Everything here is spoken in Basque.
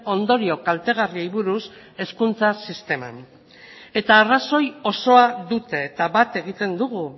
ondorio kaltegarriei buruz hezkuntza sisteman eta arrazoi osoa dute eta bat egiten dugu